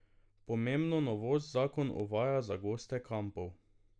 Pomembno novost zakon uvaja za goste kampov.